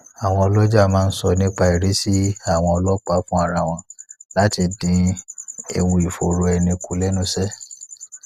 àwọn oloja máa ń sọ nnipairisi àwọn ọlọpàá fun ara won láti dín ewu ìfòòró ẹni kù lenuse